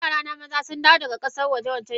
Yarana maza sundawo daga kasan waje wancan shekaran.